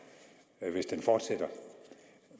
mig hvis den udvikling fortsætter